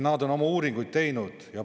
Nad on oma uuringuid teinud.